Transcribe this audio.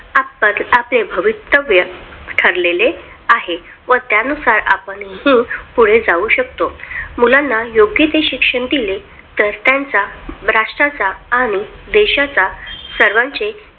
आता आपले भवितव्य ठरलेले आहे. त्यानुसार आपण स्वतःहून पुढे जाऊ शकतो मुलांना योग्य ते शिक्षण दिले तर त्यांचा राष्ट्राचा आणि देशाचा सर्वांचे